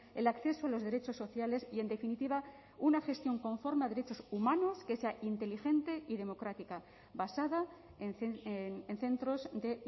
el acceso a los derechos sociales y en definitiva una gestión conforme a derechos humanos que sea inteligente y democrática basada en centros de